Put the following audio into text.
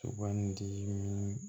Sugandili ni